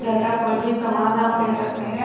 घर का कोई भी समन आप ले सकते हैं।